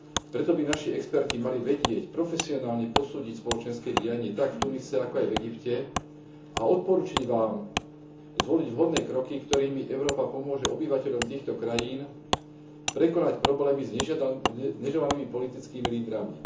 Preto by naši experti mali vedieť profesionálne posúdiť spoločenské dianie tak v Tunise, ako aj v Egypte a odporučiť Vám zvoliť vhodné kroky, ktorými Európa pomôže obyvateľom týchto krajín prekonať problémy s neželanými politickými lídrami.